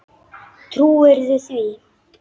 Trúirðu því?